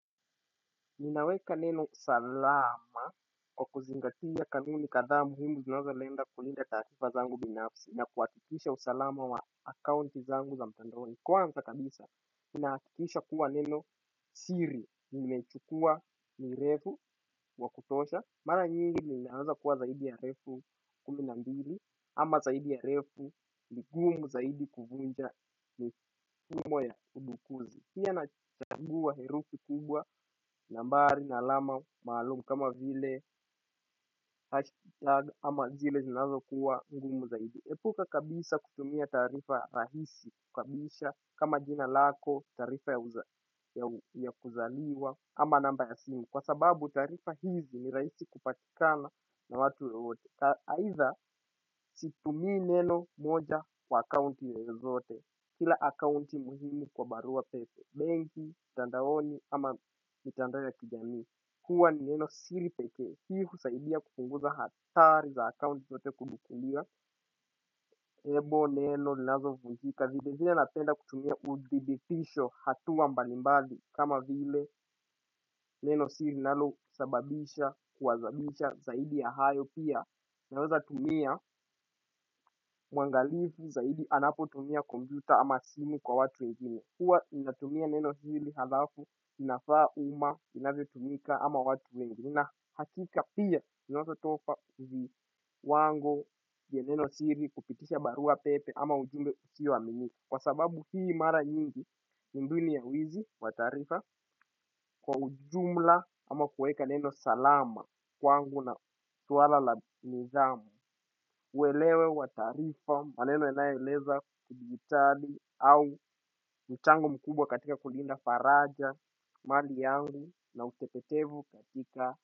Ninaweka neno usalama kwa kuzingatiya kanuni kadhaa muhimu zinazo lenda kulinda taarifa zangu binafsi na kuhakikisha usalama wa akaunti zangu za mtandaoni. Kwanza kabisa, ninahakikisha kuwa neno siri, nimechukua ni refu kwa kutosha mara nyingi ninaanza kuwa zaidi ya refu kumi na mbili ama zaidi ya refu ni ngumu zaidi kuvunja kimo ya udukuzi. Pia nachangua herufi kubwa, nambari, na alama, maalumu kama vile hashtag ama zile zinazo kuwa ngumu zaidi. Epuka kabisa kutumia tarifa rahisi kukabisha kama jina lako tarifa ya kuzaliwa ama namba ya simu. Kwa sababu tarifa hizi ni rahisi kupatikana na watu wote aidha situmi neno moja kwa akaunti ya zote. Kila akaunti muhimu kwa barua pepe banking, mtandao ya kujamii huwa ni neno siri pekee hii husaidia kupunguza hatari za akaunti zote kudukuliwa Ebo neno linazo vunjika vile zile napenda kutumia udhibifisho hatua mbalimbali kama vile neno siri linalo sababisha kuwazabisha. Zaidi ya hayo pia naweza tumia uangalifu zaidi anapotumia kompyuta ama simu kwa watu wengine huwa ninatumia neno siri halafu inafaa uma, inavyotumika ama watu wengi. Nina hakika pia, inaezo tofa uzi wangu ya neno siri kupitisha barua pepe ama ujumbe usio aminika. Kwa sababu hii mara nyingi, ni mbinu ya wizi, wa tarifa. Kwa ujumla ama kueka neno salama kwangu na swala la nidhamu uelewe wa tarifa, maneno yanayoeleza kidigitali. Au mchango mkubwa katika kulinda faraja mali yangu na utepetevu katika.